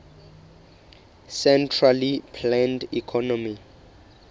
centrally planned economy